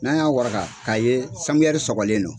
N'a y'a wagaka k'a ye sɔgɔlen don.